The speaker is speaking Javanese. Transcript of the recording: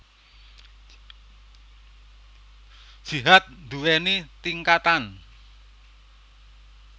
Jihad nduwèni tingkatan